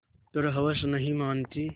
पर हवस नहीं मानती